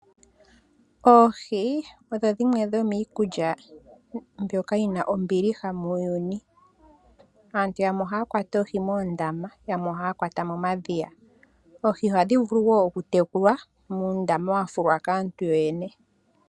Oohi odho dhimwe dho miikulya mbyoka yi na ombiliha muuyuni. Aantu yamwe ohaa kwata oohi moondama, yamwe ohaa kwata momadhiya . Oohi oha dhi vulu oku tekulwa muundama wa fulwa kaantu yo yene.